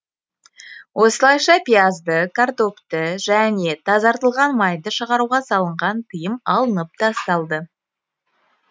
осылайша пиязды картопты және тазартылған майды шығаруға салынған тыйым алынып тасталды